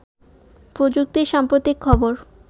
প্রযুক্তির সাম্প্রতিক খবর